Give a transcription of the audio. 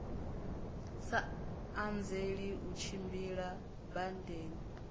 sa anzeli u tshimbila badani